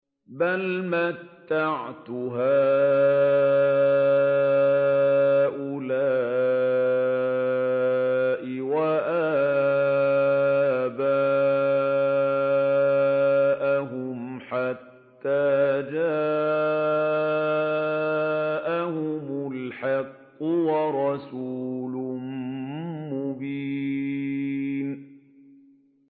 بَلْ مَتَّعْتُ هَٰؤُلَاءِ وَآبَاءَهُمْ حَتَّىٰ جَاءَهُمُ الْحَقُّ وَرَسُولٌ مُّبِينٌ